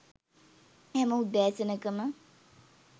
හැම උදෑසනක ම